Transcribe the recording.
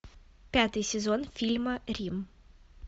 пятый сезон фильма рим